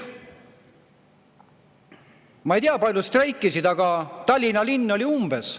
Ma ei tea, kui paljud streikisid, aga Tallinna linn oli umbes.